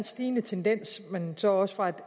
stigende tendens men så også fra et